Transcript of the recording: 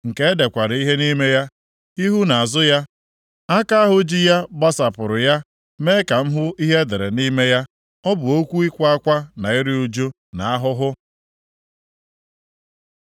nke e dekwara ihe nʼime ya, ihu na azụ ya. Aka ahụ ji ya gbasapụrụ ya mee ka m hụ ihe e dere nʼime ya. Ọ bụ okwu ịkwa akwa na iru ụjụ na ahụhụ.